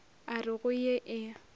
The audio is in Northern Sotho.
a re go ye e